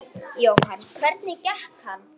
Jóhann: Hvernig gekk hann?